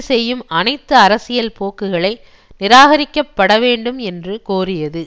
செய்யும் அனைத்து அரசியல் போக்குகளை நிராகரிக்கப்பட வேண்டும் என்று கோரியது